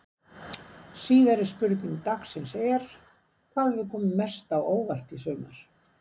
Síðari spurning dagsins er: Hvað hefur komið mest á óvart í sumar?